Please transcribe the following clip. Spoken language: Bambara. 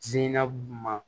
Jinɛ bu ma